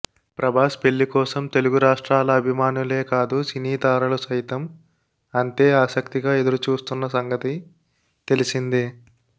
ప్రభాస్ పెళ్లి కోసం తెలుగురాష్ట్రాల అభిమానులే కాదు సినీ తారలు సైతం అంతే ఆసక్తిగా ఎదురుచూస్తున్న సంగతి తెలిసిందే